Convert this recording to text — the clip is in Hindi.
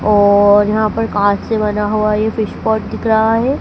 और यहां पर कांच से बना हुआ ये फिश पॉट दिख रहा है।